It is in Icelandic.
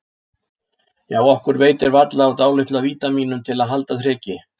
Já, okkur veitir varla af dálitlu af vítamínum til að halda þreki